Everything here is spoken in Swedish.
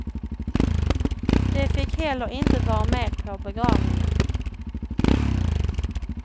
De fick heller inte vara med på begravningen.